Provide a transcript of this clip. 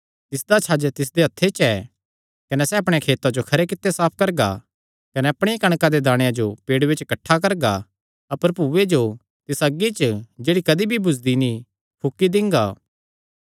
तिसदा छज तिसदे हत्थे च ऐ कने सैह़ अपणेयां खेतां जो खरे कित्ते साफ करगा कने अपणिया कणका दे दाणेयां जो पेड़ूये च किठ्ठा करगा अपर भूये जो तिसा अग्गी च जेह्ड़ी कदी भी बुझदी नीं फूकी दिंगा